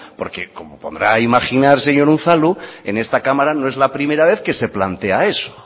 porque como podrá imaginar señor unzalu en esta cámara no es la primera vez que se plantea eso